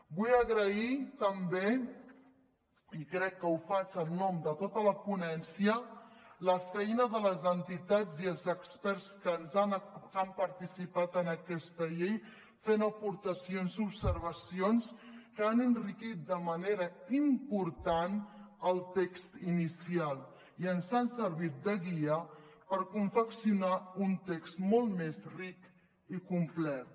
vull agrair també i crec que ho faig en nom de tota la ponència la feina de les entitats i els experts que han participat en aquesta llei fent aportacions i observacions que han enriquit de manera important el text inicial i ens han servit de guia per confeccionar un text molt més ric i complet